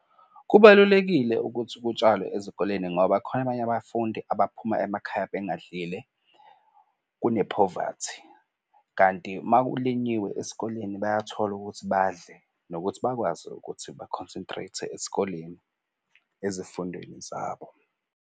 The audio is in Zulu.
Kubalulekile ukuthi kutshalwe ezikoleni ngoba khona abanye abafundi abaphuma emakhaya bengadlile, kunephovathi. Kanti uma kulinyiwe esikoleni bayathola ukuthi badle nokuthi bakwazi ukuthi ba-concentrate-e esikoleni ezifundweni zabo.